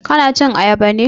Ka na cin ayaba ne?